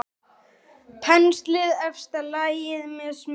Penslið efsta lagið með smjöri.